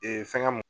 fɛngɛ m